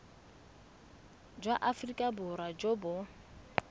jwa aforika borwa jo bo